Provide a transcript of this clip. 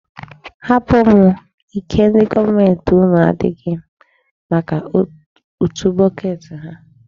Hapụ m, ike ndị gọọmenti unu adịghị maka utu bọket ha.